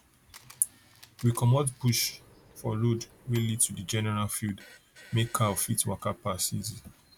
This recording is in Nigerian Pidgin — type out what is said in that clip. we comot bush we comot bush for road wey lead to the general field make cow fit waka pass easy